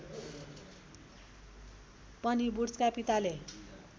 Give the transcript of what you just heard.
पनि वुड्सका पिताले